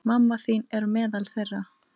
Mamma þín er meðal þeirra.